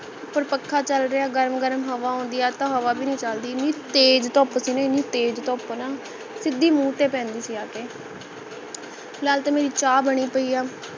ਉਪਰ ਪੱਖਾ ਚਲ ਰਿਹਾ ਗਰਮ ਗਰਮ ਹਵਾ ਆਉਂਦੀ ਹੈ ਅੱਜ ਤਾ ਹਵਾ ਭੀ ਨਹੀਂ ਚਲਦੀ ਇਹਨੀ ਤੇਜ਼ ਧੁੱਪ ਸੀ ਨਾ ਇਹਨੀ ਤੇਜ਼ ਧੁੱਪ ਨਾ ਸਿੱਧੀ ਮੂੰਹ ਤੇ ਪੈਂਦੀ ਸੀ ਆਕੇ ਫਿਲਾਲ ਤਾਂ ਮੇਰੀ ਚਾਹ ਬਣੀ ਪਈ ਹੈ